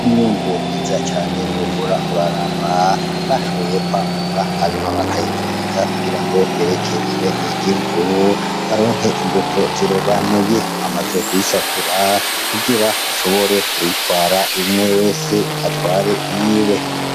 Imyungu mwiza cane wohora uraraba bashoboye kwamura hanyuma bakayivundika kugira ngo bereke abenegihugu , baronke imbuto zirobanuye, bamaze kuyisatura kugira bashobore kuyitwara umwe wese atware iyiwe.